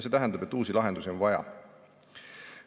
See tähendab, et uusi lahendusi on vaja.